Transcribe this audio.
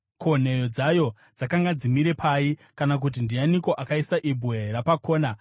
Ko, nheyo dzayo dzakanga dzimire pai, kana kuti ndianiko akaisa ibwe rapakona,